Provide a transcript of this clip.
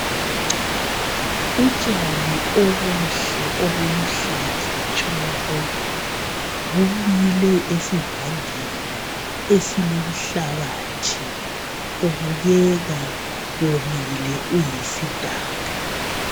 Utshani obuhle obuluhlaza tshoko bumile esivandeni esilomhlabathi ubukeka omile uyisidaka.